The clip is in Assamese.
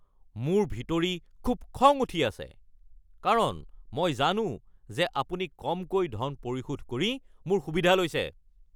মোৰ ভিতৰি খুব খং উঠি আছে কাৰণ মই জানো যে আপুনি কমকৈ ধন পৰিশোধ কৰি মোৰ সুবিধা লৈছে।